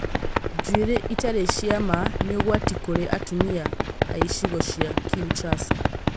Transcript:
njuĩrĩ itarĩ cia ma nĩ ũgwati kũrĩ atumia aicigo cia Kinshasa?